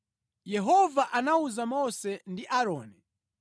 Yehova anawuza Mose ndi Aaroni kuti,